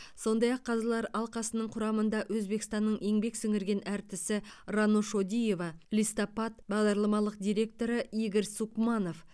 сондай ақ қазылар алқасының құрамында өзбекстанның еңбек сіңірген артисі рано шодиева листопад бағдарламалық директоры игорь сукманов